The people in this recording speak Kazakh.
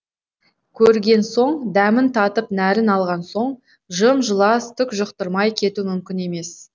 көрген соң дәмін татып нәрін алған соң жым жылас түк жұқтырмай кету мүмкін емес